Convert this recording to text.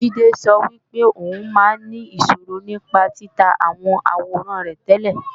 Jídé sọ wípé ò ń máa ń ní ìṣòro nípa títa àwọn àwòrán rẹ tẹ́lẹ̀